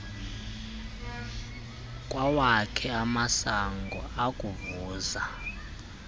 kwawakhe amasango ukuvuza